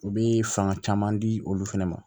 U bɛ fanga caman di olu fana ma